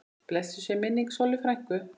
Blessuð sé minning Sollu frænku.